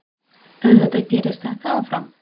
Auðvitað gerist þetta áfram.